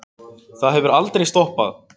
Það hefur aldrei stoppað